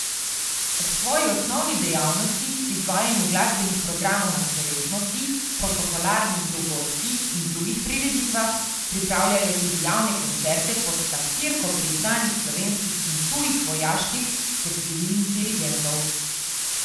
Ob svoji osnovni dejavnosti, izvajanju glasbenih programov na slovesnostih, protokolarnih dogodkih in drugih prireditvah, pripravljajo tudi javne koncerte pod taktirko priznanih slovenskih in tujih vojaških ter civilnih dirigentov.